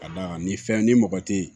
Ka d'a kan nin fɛn ni mɔgɔ tɛ yen